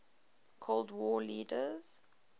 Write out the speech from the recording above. cold war leaders